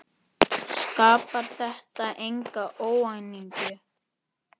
Skapar þetta enga óánægju?